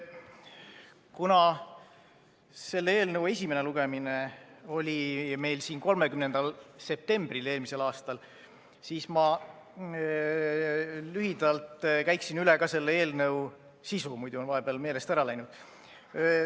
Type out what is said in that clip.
Kuna selle eelnõu esimene lugemine oli meil siin 30. septembril eelmisel aastal, siis ma lühidalt käiksin üle ka selle eelnõu sisu, äkki see on vahepeal meelest ära läinud.